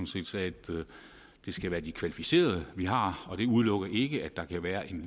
set sagde at det skal være de kvalificerede vi har og det udelukker ikke at der kan være en